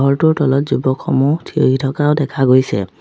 ঘৰটোৰ তলত যুৱকসমূহ থিয়হি থকাও দেখা গৈছে।